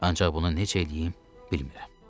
Ancaq bunu necə eləyim, bilmirəm.